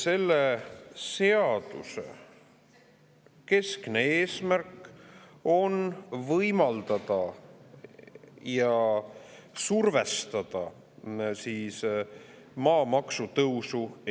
Selle seaduse keskne eesmärk on võimaldada Eestis maamaksu tõsta ja survestada.